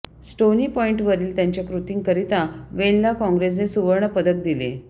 stony पॉईंटवरील त्याच्या कृतींकरिता वेनला काँग्रेसने सुवर्ण पदक दिले